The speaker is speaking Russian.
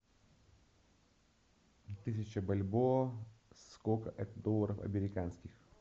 тысяча бальбоа сколько это долларов американских